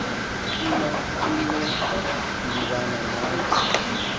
ituna uxudibana nave